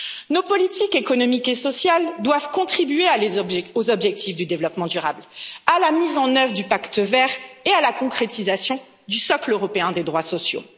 Nos politiques économiques et sociales doivent contribuer aux objectifs du développement durable, à la mise en œuvre du pacte vert et à la concrétisation du socle européen des droits sociaux.